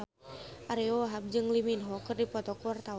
Ariyo Wahab jeung Lee Min Ho keur dipoto ku wartawan